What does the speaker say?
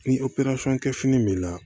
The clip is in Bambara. Ni kɛ fini b'i la